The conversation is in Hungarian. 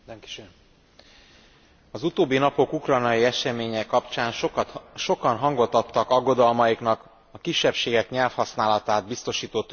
Az utóbbi napok ukrajnai eseménye kapcsán sokan hangot adtak aggodalmaiknak a kisebbségek nyelvhasználatát biztosító törvény visszavonása miatt.